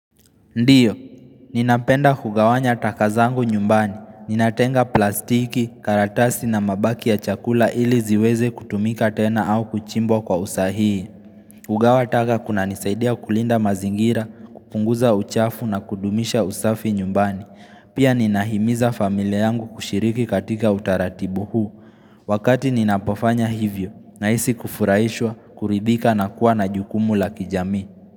Ndio, ninapenda kugawanya taka zangu nyumbani. Ninatenga plastiki, karatasi na mabaki ya chakula ili ziweze kutumika tena au kuchimbwa kwa usahii. Hugawa taka kuna nisaidia kulinda mazingira, kupunguza uchafu na kudumisha usafi nyumbani. Pia ninahimiza familia yangu kushiriki katika utaratibu huu. Wakati ninapofanya hivyo, nahisi kufurahishwa, kuridhika na kuwa na jukumu la kijamii.